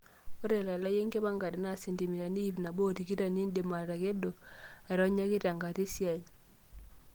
Ore elalai enkipangare naa sentimitani ip nabo otikitam nindim atakedo aironyaki tenkata esiai.